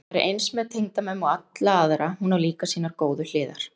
En það er eins með tengdamömmu og alla aðra, hún á líka sínar góðu hliðar.